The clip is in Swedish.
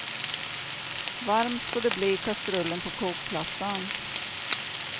Varmt får det bli i kastrullen på kokplattan.